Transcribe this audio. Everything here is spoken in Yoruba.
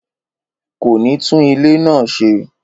Kò ní tún ilé náà ṣe